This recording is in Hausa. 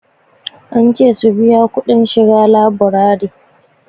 An ce su biya kudin shiga laburari.